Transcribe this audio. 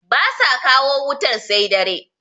ba sa kawo wutar sai dare